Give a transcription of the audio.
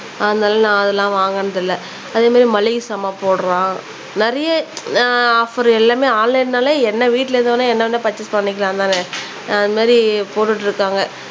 அதுனால நான் அதுலாம் வாங்குனது இல்ல அதே மாதிரி மளிகை சாமான் போடுறான் ஆஹ் நிறைய ஆஃப்ஃபர் எல்லாமே ஆன்லைன்னாலே என்ன வீட்டுல இருந்து என்ன வேணும்னா பர்ச்சேஸ் பண்ணிக்கலாம் தானே அது மாதிரி போட்டுக்கிட்டு இருக்காங்க